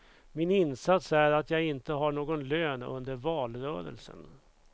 Min insats är att jag inte har någon lön under valrörelsen.